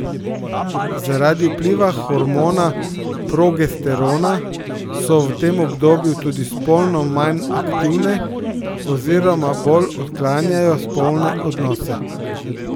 Zaradi vpliva hormona progesterona so v tem obdobju tudi spolno manj aktivne oziroma bolj odklanjajo spolne odnose.